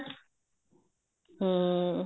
ਹਮ